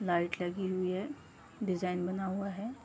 Light लगी हुई है। डिजाइन बना हुआ है।